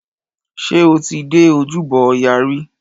Ṣé o ti dé ojúbọ ọya rí?